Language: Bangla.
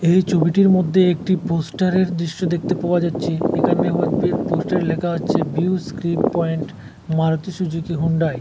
এই ছবিটির মধ্যে একটি পোস্টারের দৃশ্য দেখতে পাওয়া যাচ্ছে এখানে পোস্টারে লেখা হচ্ছে views click point Maruti Suzuki Hyundai.